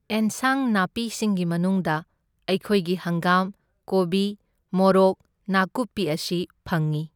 ꯑꯦꯟꯁꯥꯡ ꯅꯥꯄꯤꯁꯤꯡꯒꯤ ꯃꯅꯨꯡꯗ ꯑꯩꯈꯣꯏꯒꯤ ꯍꯪꯒꯥꯝ, ꯀꯣꯕꯤ, ꯃꯣꯔꯣꯛ, ꯅꯥꯀꯨꯞꯄꯤ ꯑꯁꯤ ꯐꯪꯢ꯫